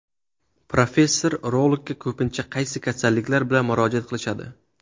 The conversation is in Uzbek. Professor, urologga ko‘pincha qaysi kasalliklar bilan murojaat qilishadi?